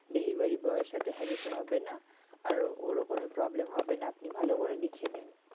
delivery boy এর সাথে হ্যাজাতে হবেনা আর ওরও কোন problem হবেনা আপনি ভালো করে লিখে নিন।